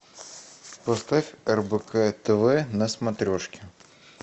поставь рбк тв на смотрешке